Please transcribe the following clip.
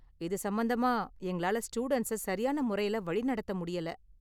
இது சம்பந்தமா எங்களால ஸ்டூடண்ட்ஸை சரியான முறையில வழி நடத்த முடியல.